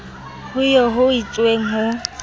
ho eo ho itsweng ho